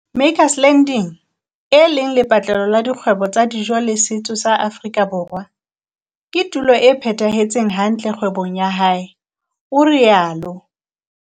Makers Landing, e leng lepatlelo la dikgwebo tsa dijo le setso sa Afrika Borwa, ke tulo e phethahetseng hantle kgwebong ya hae, o rialo.